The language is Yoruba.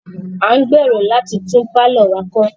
A ń gbèrò láti tún pálọ̀ wa kọ́.